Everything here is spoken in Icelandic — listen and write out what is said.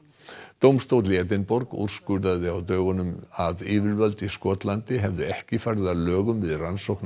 dómstóll í Edinborg úrskurðaði á dögunum að yfirvöld í Skotlandi hefðu ekki farið að lögum við rannsókn